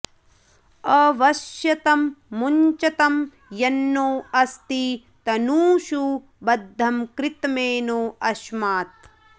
अवस्यतं मुञ्चतं यन्नो अस्ति तनूषु बद्धं कृतमेनो अस्मात्